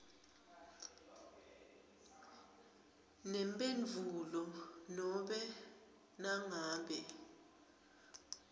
nemphendvulo nobe nangabe